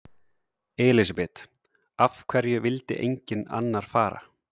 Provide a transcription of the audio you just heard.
Elísabet: Af hverju vildi enginn annar fara?